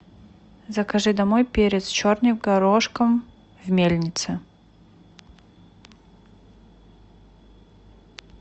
закажи домой перец черный горошком в мельнице